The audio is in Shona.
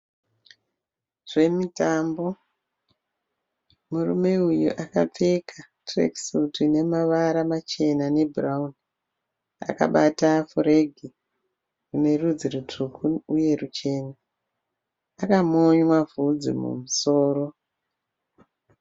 Zvemutambo. Murume uyu akapfeka tirekisutu ine mavara machena nebhurawuni. Akabata furegi ine rudzi rutsvuku uye ruchena. Akamonywa bvudzi mumusoro.